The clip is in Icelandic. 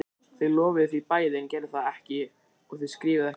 Þau lofuðu því bæði en gerðu það ekki og þau skrifuðu ekki heldur.